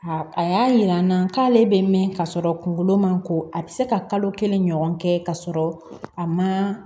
A y'a yira n na k'ale bɛ mɛn ka sɔrɔ kunkolo ma ko a bɛ se ka kalo kelen ɲɔgɔn kɛ k'a sɔrɔ a ma